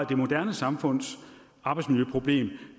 det moderne samfunds arbejdsmiljøproblemer